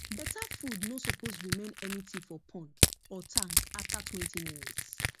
better food no suppose remain anything for pond or tank after twenty minutes